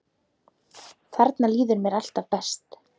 Þarna líður mér alltaf best.